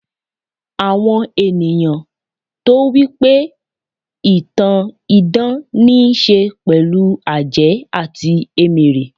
àwọn ènìyàn tó wipe ìtàn idán n'isẹ pẹlu àjẹ́ ati emere